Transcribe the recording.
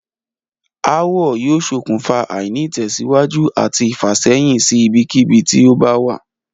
Aáwò̩ yóò s̩okùnfà àìní-ìtè̩síwájú àti ìfàsé̩yìn sí ibikíbi tí ó bá wà